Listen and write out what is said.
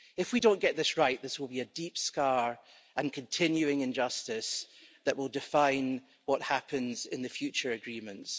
If we don't get this right, this will be a deep scar and continuing injustice that will define what happens in the future agreements.